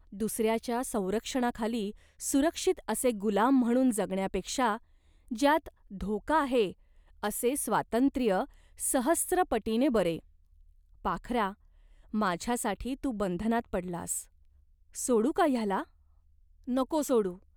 दुसऱ्याच्या संरक्षणाखाली सुरक्षित असे गुलाम म्हणून जगण्यापेक्षा ज्यात धोका आहे असे स्वातंत्र्य सहस्त्रपटीने बरे. पाखरा, माझ्यासाठी तू बंधनात पडलास." "सोडू का ह्याला ?" "नको सोडू.